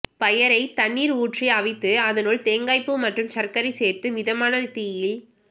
பயறை தண்ணீர் ஊற்றி அவித்து அதனுள் தேங்காய்ப்பூ மற்றும் சர்க்கரை சேர்த்து மிதமான தீயில்